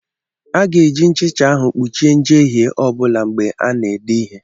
A ga-eji nchicha ahụ kpuchie njehie ọ bụla mgbe a na-ede ihe.